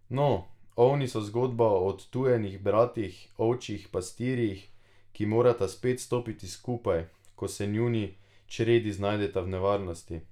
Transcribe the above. No, Ovni so zgodba o odtujenih bratih, ovčjih pastirjih, ki morata spet stopiti skupaj, ko se njuni čredi znajdeta v nevarnosti.